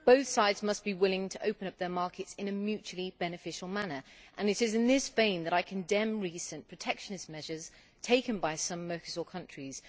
Both sides must be willing to open up their markets in a mutually beneficial manner, and it is in this vein that I condemn recent protectionist measures taken by some Mercosur countries.